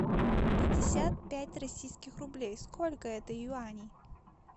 пятьдесят пять российских рублей сколько это юаней